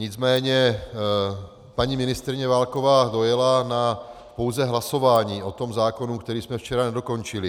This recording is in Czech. Nicméně paní ministryně Válková dojela na pouze hlasování o tom zákonu, který jsme včera nedokončili.